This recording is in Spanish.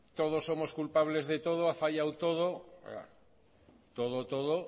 todos somos culpables de todos ha fallado todo claro todo todo